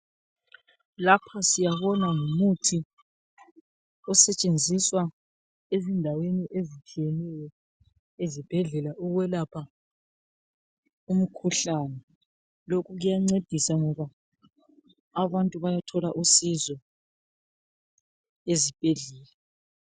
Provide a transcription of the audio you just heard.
Lapha siyabona ngumuthi osetshenziswa ezindaweni ezitshiyeneyo ezibhedlela ukwelapha umkhuhlane. Lokhu kuyancedisa ngoba abantu bayathola usizo ezibhedlela.